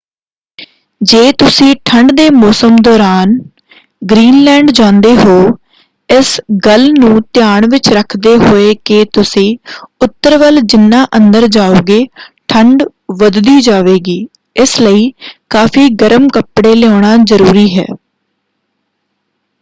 ਜੇ ਤੁਸੀਂ ਠੰਡ ਦੇ ਮੌਸਮ ਦੌਰਾਨ ਗ੍ਰੀਨਲੈਂਡ ਜਾਂਦੇ ਹੋ ਇਸ ਗੱਲ ਨੂੰ ਧਿਆਨ ਵਿੱਚ ਰੱਖਦੇ ਹੋਏ ਕਿ ਤੁਸੀਂ ਉੱਤਰ ਵੱਲ ਜਿਨ੍ਹਾਂ ਅੰਦਰ ਜਾਉਂਗੇ ਠੰਡ ਵੱਧਦੀ ਜਾਵੇਗੀ ਇਸ ਲਈ ਕਾਫ਼ੀ ਗਰਮ ਕੱਪੜੇ ਲਿਆਉਣਾ ਜ਼ਰੂਰੀ ਹੈ।